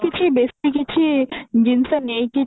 କିଛି ବେଶୀ କିଛି ଜିନିଷ ନେଇକି